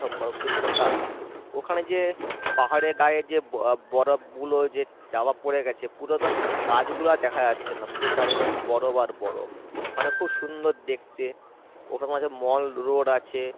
বরফ দিয়ে ঢাকা ওখানে পাহাড়ের গায়ে যে ব~বরফ গুলো যে চাপা পরে গেছে পুরো তো গাছ গুলো দেখা যাচ্ছে না পুরো চারিদিকে শুধু বরফ আর বরফ মানে খুব সুন্দর দেখতে mall road আছে